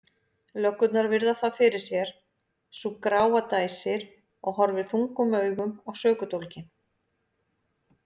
Löggurnar virða það fyrir sér, sú gráa dæsir og horfir þungum augum á sökudólginn.